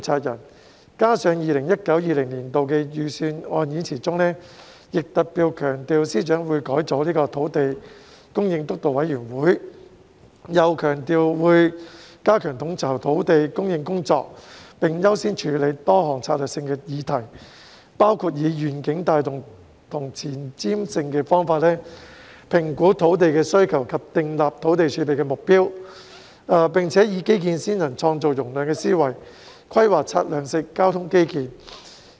此外，司長在 2019-2020 年度的預算案演辭中特別強調，會改組土地供應督導委員會，又強調會"加強統籌土地供應工作，並優先處理多項策略性議題，包括以願景帶動和前瞻性的方法，評估土地需求及訂立土地儲備目標，和以基建先行、創造容量的思維，規劃策略性交通基建。